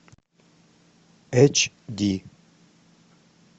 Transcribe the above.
эч ди